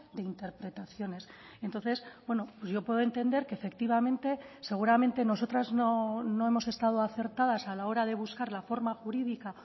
de interpretaciones entonces yo puedo entender que efectivamente seguramente nosotras no hemos estado acertadas a la hora de buscar la forma jurídica